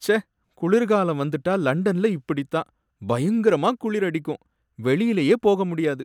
ச்சே, குளிர்காலம் வந்துட்டா லண்டன்ல இப்படிதான், பயங்கரமா குளிர் அடிக்கும், வெளியிலயே போக முடியாது.